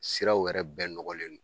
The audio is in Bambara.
Siraw yɛrɛ bɛɛ nɔgɔlen do.